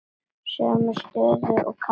Sömu stöðu og karlar.